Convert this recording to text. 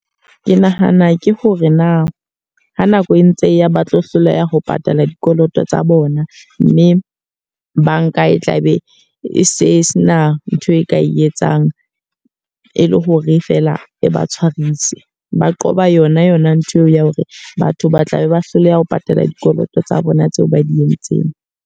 Ke nahana ke hore na ha nako e ntse e ya ba tlo hloleha ho patala dikoloto tsa bona. Mme banka e tla be e se sena nthwe ka e e etsang, e le hore fela e ba tshwarise. Ba qoba yona yona ntho eo ya hore batho ba tlabe ba hloleha ho patala dikoloto tsa bona tseo ba di entseng.